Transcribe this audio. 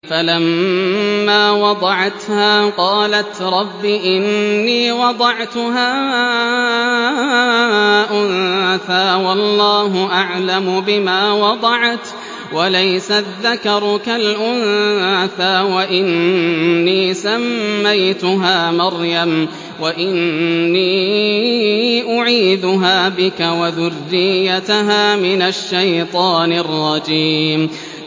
فَلَمَّا وَضَعَتْهَا قَالَتْ رَبِّ إِنِّي وَضَعْتُهَا أُنثَىٰ وَاللَّهُ أَعْلَمُ بِمَا وَضَعَتْ وَلَيْسَ الذَّكَرُ كَالْأُنثَىٰ ۖ وَإِنِّي سَمَّيْتُهَا مَرْيَمَ وَإِنِّي أُعِيذُهَا بِكَ وَذُرِّيَّتَهَا مِنَ الشَّيْطَانِ الرَّجِيمِ